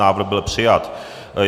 Návrh byl přijat.